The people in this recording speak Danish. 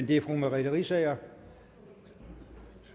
det fru merete riisager